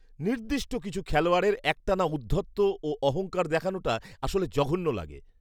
নির্দিষ্ট কিছু খেলোয়াড়ের একটানা ঔদ্ধত্য ও অহংকার দেখানোটা আসলে জঘন্য লাগে।